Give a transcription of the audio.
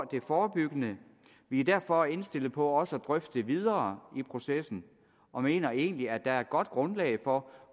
det forebyggende vi er derfor indstillet på også at drøfte det videre i processen og mener egentlig at der er godt grundlag for